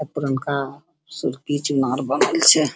आ पुरनका सिरकिच मार्बल छै |